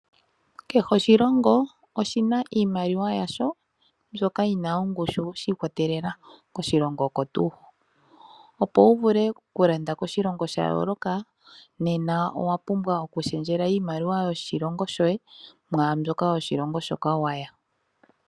Kehe oshilongo oshina iimaliwa yasho mbyoka yina ongushu shiikwatelela koshilongo oko tuu ho. Opo wu vule okulanda koshilongo sha yooloka nena owapumbwa okushendjela iimaliwa yoshilongo shoye mwàambyoka yoshilongo shoka waya.